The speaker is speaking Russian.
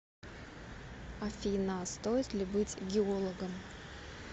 афина стоит ли быть геологом